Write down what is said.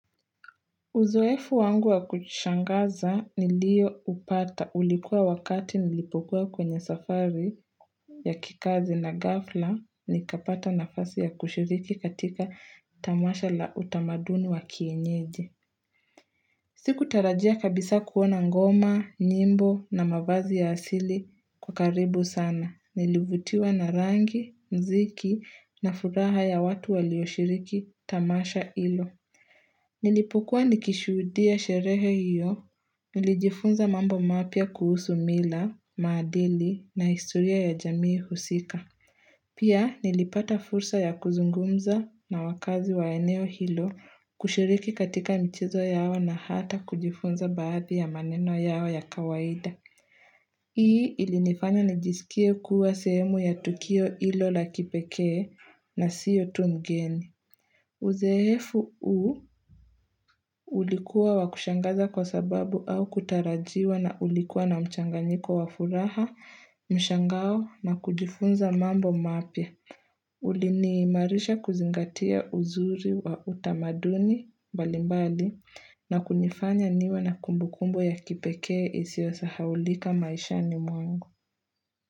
Uzoefu wangu wa kushangaza niliyoupata ulikuwa wakati nilipokua kwenye safari ya kikazi na ghafla nikapata nafasi ya kushiriki katika tamasha la utamaduni wa kienyeji. Sikutarajia kabisa kuona ngoma, nyimbo na mavazi ya asili kwa karibu sana. Nilivutiwa na rangi, mziki na furaha ya watu walioshiriki tamasha ilo. Nilipukua nikishudia sherehe hiyo, nilijifunza mambo mapya kuhusu mila, madili na historia ya jamii husika. Pia nilipata fursa ya kuzungumza na wakazi wa eneo hilo kushiriki katika mchezo yao na hata kujifunza baadhi ya maneno yao ya kawaida. Hii ilinifanya nijisikie kuwa sehemu ya tukio hilo la kipekee na siyo tu mgeni. Uzoefu huu ulikuwa wakushangaza kwa sababu haukutarajiwa na ulikuwa na mchanganyiko wa furaha, mshangao na kujifunza mambo mapya. Uliniimarisha kuzingatia uzuri wa utamaduni mbalimbali na kunifanya niwe na kumbukumbu ya kipekee isiyosahaulika maishani mwangu.